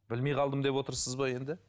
білмей қалдым деп отырсыз ба енді